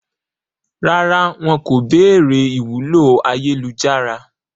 Rárá, wọn kò béèrè ìwúlò ayélujára